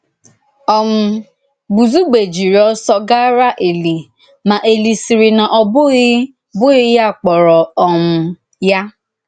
um Bùzugbè jìrì òsọ gàrà Èlì, ma Èlì sị̀rì na ọ bụ̀ghị bụ̀ghị ya kpọ̀rọ̀ um ya.